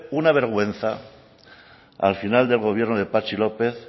una vergüenza al final del gobierno de patxi lópez